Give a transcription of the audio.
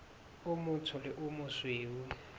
o motsho le o mosweu